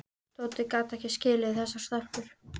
Tóti gat ekki skilið þessar stelpur.